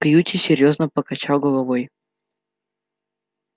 кьюти серьёзно покачал головой